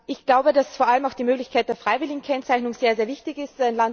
Ich glaube, dass vor allem die Möglichkeit der freiwilligen Kennzeichnung sehr wichtig ist.